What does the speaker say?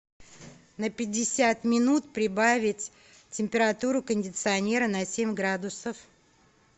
на пятьдесят минут прибавить температуру кондиционера на семь градусов